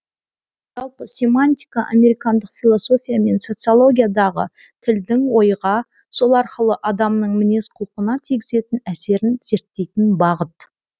жалпы семантика американдық философия мен социологиядағы тілдің ойға сол арқылы адамның мінез құлқына тигізетін әсерін зерттейтін бағыт